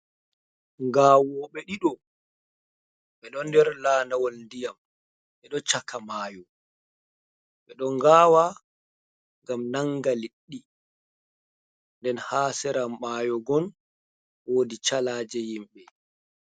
Ngawoɓe ɗiɗo ɓeɗo nder landawal ndiyam ɓeɗo caka maayo ɓeɗo ngawa ngam nanga liɗɗi nden ha sera mayo gon wodi calaje himɓe.